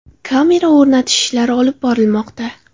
Kamera o‘rnatish ishlari olib borilmoqda.